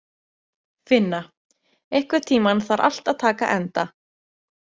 Finna, einhvern tímann þarf allt að taka enda.